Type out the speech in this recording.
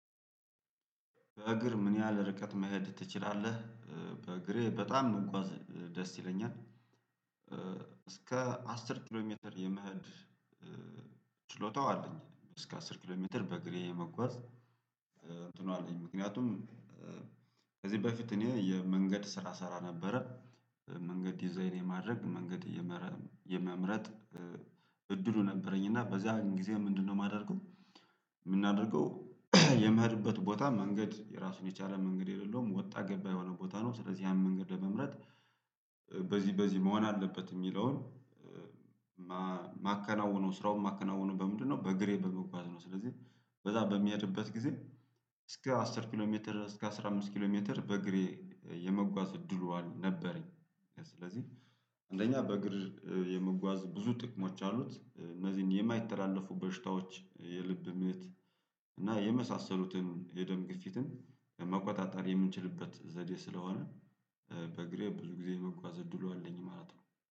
በእግር ምን ያህል ርቀት መሄድ ትችላለህ? በእግሬ በጣም መጓዝ ደስ ይለኛል። እስከ አስር ኪሎ ሜትር የመሀድ። ችሎታው አለኝ እስከ አስር ኪሎ ሜትር በእግሬ መጓዝ። እንትኑ አለኝ ምክንያቱም ከዚህ በፊት እኔ የመንገድ ስራ እሰራ ነበረ። መንገድ ዲዛይን የማድረግ መንገድ የመምረጥ እድሉ ነበረኝ እና በዛን ጊዜ ምንድነው የማደርገው የምናደርገው የምሄድበት ቦታ መንገድ የራሱን የቻለ መንገድ የሌለውም ወጣ ገባ የሆነ ቦታ ነው። ስለዚህ ያን መንገድ ለመምረጥ በዚህ በዚህ መሆን አለበት የሚለውን ማከናወነው ስራውን ማከናወነው በምንድነው በእግሬ በመጓዝ ነው። ስለዚህ በዛ በሚሄድበት ጊዜ እስከ አስር ኪሎ ሜትር እስከ አስራ አምስት ኪሎ ሜትር በእግሬ የመጓዝ እድሉ ነበረኝ። ስለዚህ አንደኛ በእግር የምጓዝ ብዙ ጥቅሞች አሉት እነዚህን የማይተላለፉ በሽታዎች የልብ ምት እና የመሳሰሉትን የደም ግፊትን መቆጣጠር የምንችልበት ዘዴ ስለሆነ በእግሬ ብዙ ጊዜ የመጓዝ እድሉ አለኝ ማለት ነው